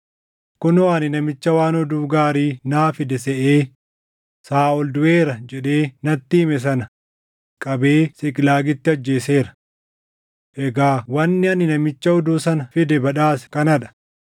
kunoo ani namicha waan oduu gaarii naa fide seʼee, ‘Saaʼol duʼeera’ jedhee natti hime sana qabee Siiqlaagitti ajjeeseera. Egaa wanni ani namicha oduu sana fide badhaase kana dha!